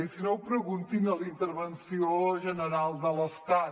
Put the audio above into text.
i si no ho preguntin a la intervenció general de l’estat